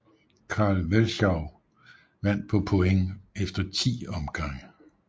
Carl Welschou vandt på point efter 10 omgange